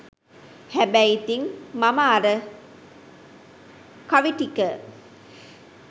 හැබැයි ඉතින් මම අර කවි ටික